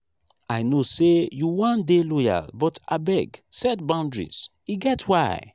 i know sey you wan dey loyal but abeg set boudaries e get why.